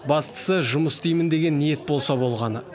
бастысы жұмыс істеймін деген ниет болса болғаны